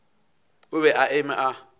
o be a eme a